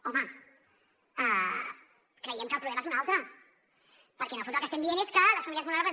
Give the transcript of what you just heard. home creiem que el problema és un altre perquè en el fons el que estem dient és que les famílies vulnerables